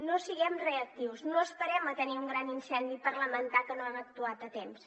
no siguem reactius no esperem a tenir un gran incendi per lamentar que no hem actuat a temps